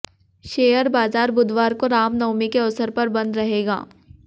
share बाजार बुधवार को राम नवमी के अवसर पर बंद रहेगा